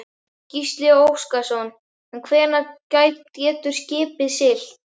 Gísli Óskarsson: En hvenær getur skipið siglt?